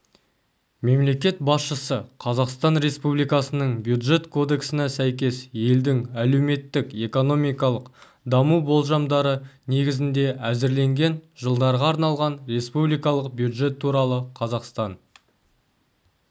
мемлекет басшысы қазақстан республикасының бюджет кодексіне сәйкес елдің әлеуметтік-экономикалық даму болжамдары негізінде әзірленген жылдарға арналған республикалық бюджет туралы қазақстан